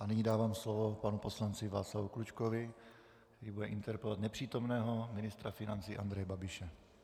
A nyní dávám slovo panu poslanci Václavu Klučkovi, který bude interpelovat nepřítomného ministra financí Andreje Babiše.